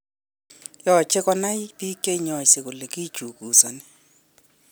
Yoche konai bik cheinyose kole kichukusoni